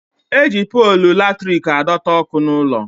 Eji polu latrik adọta ọkụ n'ụlọ